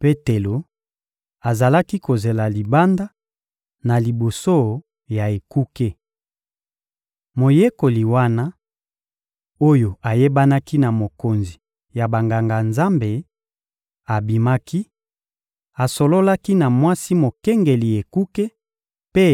Petelo azalaki kozela libanda, na liboso ya ekuke. Moyekoli wana, oyo ayebanaki na mokonzi ya Banganga-Nzambe, abimaki, asololaki na mwasi mokengeli ekuke mpe